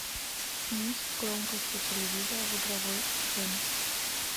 снизь громкость у телевизора в игровой зоне